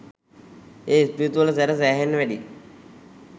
ඒ spirit වල සැර සැහෙන්න වැඩියි